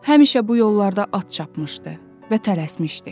Həmişə bu yollarda at çapmışdı və tələsmişdi.